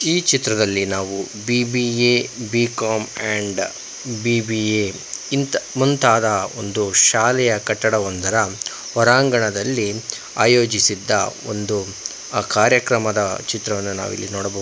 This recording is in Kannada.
ಈ ಚಿತ್ರದಲ್ಲಿ ನಾವು ಬಿ_ಬಿ_ಎ ಬಿ_ಕಾಮ್ ಅಂಡ್ ಬಿ_ಬಿ_ಎ ಇಂತ ಮುಂತಾದ ಒಂದು ಶಾಲೆಯ ಕಟ್ಟಡವೊಂದರ ಹೊರಾಂಗಣದಲ್ಲಿ ಆಯೋಜಿಸಿದ್ದ ಒಂದು ಕಾರ್ಯಕ್ರಮದ ಚಿತ್ರಾನ ನಾವಿಲ್ಲಿ ನೋಡಬಹುದು.